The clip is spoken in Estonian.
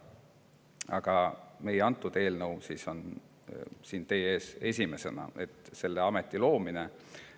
Aga antud eelnõu, mis käsitleb selle ameti loomist, on siin teie ees esimesena.